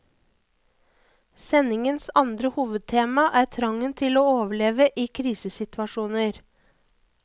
Sendingens andre hovedtema er trangen til å overleve i krisesituasjoner.